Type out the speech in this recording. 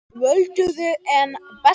Völduði hann bestan?